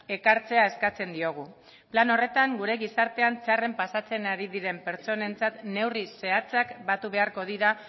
ekartzea eskatzen diogu plan horretan gure gizartean txarren pasatzen ari diren pertsonentzat neurri zehatzak batu beharko dira